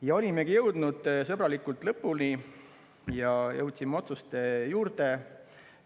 Ja olimegi jõudnud sõbralikult lõpuni ja jõudsime otsuste juurde.